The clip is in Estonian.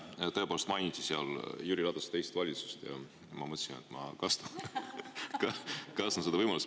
Tõepoolest mainiti seal Jüri Ratase teist valitsust ja ma mõtlesin, et ma kasutan seda võimalust.